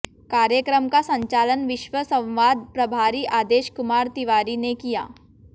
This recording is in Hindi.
कार्यक्रम का संचालन विश्व संवाद्र प्रभारी आदेश कुमार तिवारी ने किया